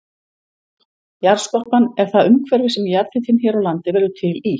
Jarðskorpan er það umhverfi sem jarðhitinn hér á landi verður til í.